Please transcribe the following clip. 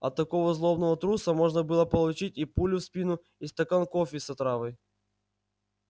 от такого злобного труса можно было получить и пулю в спину и стакан кофе с отравой